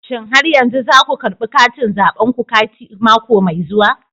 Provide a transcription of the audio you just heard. Shin har yanzu za ku karbi katin zabenku mako mai zuwa?